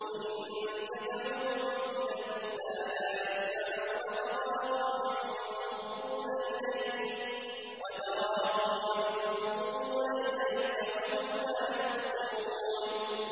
وَإِن تَدْعُوهُمْ إِلَى الْهُدَىٰ لَا يَسْمَعُوا ۖ وَتَرَاهُمْ يَنظُرُونَ إِلَيْكَ وَهُمْ لَا يُبْصِرُونَ